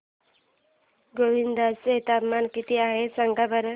गोंदिया चे तापमान किती आहे सांगा बरं